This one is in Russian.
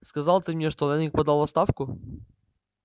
сказал ты мне что лэннинг подал в отставку